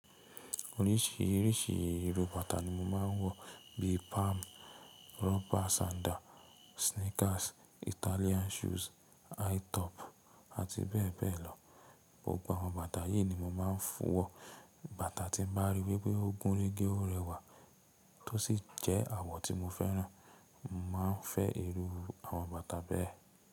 Oríṣìíríṣìí èrò bàtà ni mo máa ń wọ̀ bíi palm, rubber sandal, sneakers, Italian shoes, high top àti bẹ́ẹ̀ bẹ́ẹ̀ lọ. Gbogbo àwọn bàtà yìí ni mo máa ń fún un wọ̀. Bàtà tí mo bá rí wípé ó gúnrégé ó rẹwà tó sì jẹ́ àwọ̀ tí mo fẹ́ràn, mo máa ń fẹ́ irú àwọn bàtà bẹ́ẹ̀.